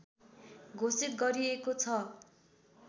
घोषित गरिएको छ